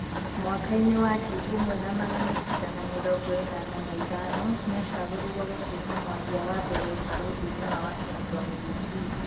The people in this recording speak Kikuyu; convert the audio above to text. Mwaka-inĩ wa ngiri ĩmwe na magana kenda na mĩrongo enana na ithano niacagurirwo gũtuika mwaria wa mbere ũbalothi-inĩ wa Washington DC.